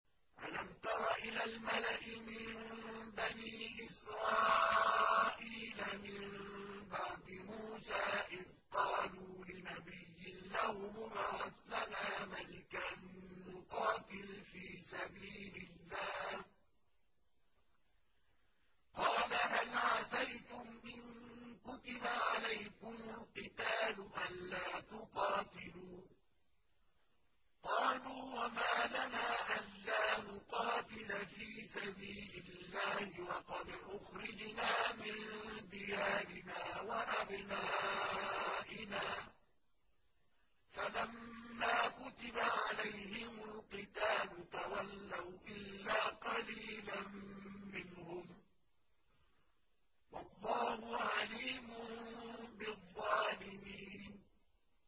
أَلَمْ تَرَ إِلَى الْمَلَإِ مِن بَنِي إِسْرَائِيلَ مِن بَعْدِ مُوسَىٰ إِذْ قَالُوا لِنَبِيٍّ لَّهُمُ ابْعَثْ لَنَا مَلِكًا نُّقَاتِلْ فِي سَبِيلِ اللَّهِ ۖ قَالَ هَلْ عَسَيْتُمْ إِن كُتِبَ عَلَيْكُمُ الْقِتَالُ أَلَّا تُقَاتِلُوا ۖ قَالُوا وَمَا لَنَا أَلَّا نُقَاتِلَ فِي سَبِيلِ اللَّهِ وَقَدْ أُخْرِجْنَا مِن دِيَارِنَا وَأَبْنَائِنَا ۖ فَلَمَّا كُتِبَ عَلَيْهِمُ الْقِتَالُ تَوَلَّوْا إِلَّا قَلِيلًا مِّنْهُمْ ۗ وَاللَّهُ عَلِيمٌ بِالظَّالِمِينَ